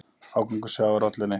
Ágangur sjávar olli henni.